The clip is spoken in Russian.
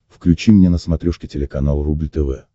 включи мне на смотрешке телеканал рубль тв